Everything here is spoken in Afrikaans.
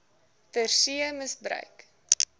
ter see misbruik